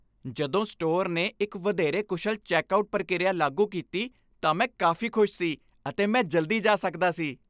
ਜਦੋਂ ਸਟੋਰ ਨੇ ਇੱਕ ਵਧੇਰੇ ਕੁਸ਼ਲ ਚੈੱਕਆਉਟ ਪ੍ਰਕਿਰਿਆ ਲਾਗੂ ਕੀਤੀ ਤਾਂ ਮੈਂ ਕਾਫ਼ੀ ਖੁਸ਼ ਸੀ, ਅਤੇ ਮੈਂ ਜਲਦੀ ਜਾ ਸਕਦਾ ਸੀ।